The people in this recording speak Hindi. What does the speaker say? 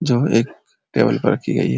जो एक टेबल पर रखी गयी --